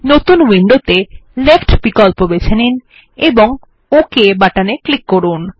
নতুন উইন্ডোতে লেফ্ট বিকল্প বেছে নিন এবং ওক বাটনে ক্লিক করুন